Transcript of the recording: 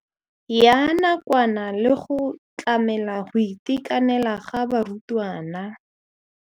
Ya nakwana le go tlamela go itekanela ga barutwana.